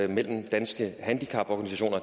mellem danske handicaporganisationer